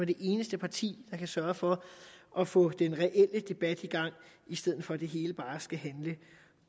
det eneste parti der kan sørge for at få den reelle debat i gang i stedet for at det hele bare skal handle